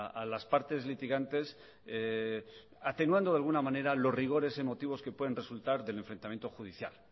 a las partes litigantes atenuando de alguna manera los rigores emotivos que puedan resultar del enfrentamiento judicial